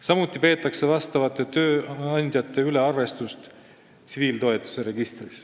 Samuti peetakse vastavate tööandjate üle arvestust tsiviiltoetuse registris.